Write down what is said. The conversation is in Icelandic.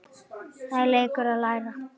Það er leikur að læra